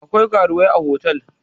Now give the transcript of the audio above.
akwai karuwai a otal